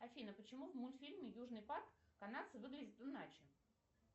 афина почему в мультфильме южный парк канадцы выглядят иначе